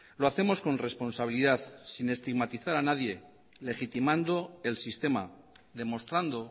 lo hacemos con responsabilidad sin estigmatizar a nadie legitimando el sistema demostrando